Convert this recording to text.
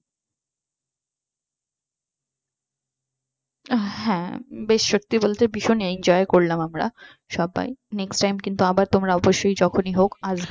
হ্যাঁ বেশ সত্যি বলতে ভীষণ enjoy করলাম আমরা সবাই next time কিন্তু আবার তোমরা অবশ্যই যখনই হোক আসবে